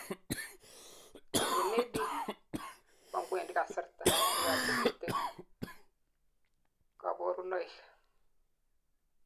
en AD, koangwendi kasarta, koyachekitun kaborunoik